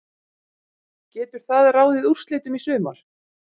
Getur það ráðið úrslitum í sumar?